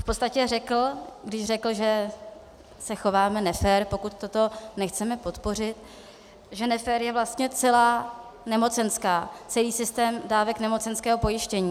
V podstatě řekl, když řekl, že se chováme nefér, pokud toto nechceme podpořit, že nefér je vlastně celá nemocenská, celý systém dávek nemocenského pojištění.